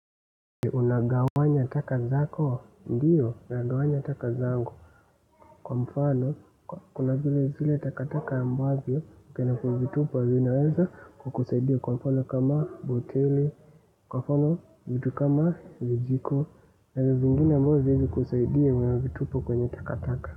Unagawanya taka zako? Ndio, nagawanya taka zangu kwa mfano, kuna zile zile tatakataka ambazo badala ya kuzitupa zinaweza kukusaidia kwa mfano kama boteli kwa mfano, vitu kama vijiko vitu zingine ambazo haziwezi kukusaidia nazitupa kwenye takataka.